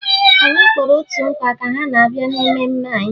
Anyị kpọrọ otu nkwa ka ha bịa na mmemme anyị